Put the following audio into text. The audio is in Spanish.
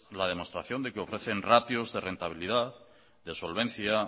la demostración de que ofrecen ratios de rentabilidad de solvencia